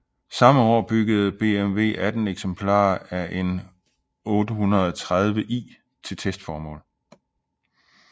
Samme år byggede BMW 18 eksemplarer af en 830i til testformål